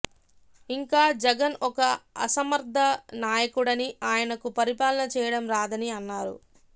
ఇంకా జగన్ ఒక అసమర్థ నాయకుడని ఆయనకు పరిపాలన చేయడం రాదని అన్నారు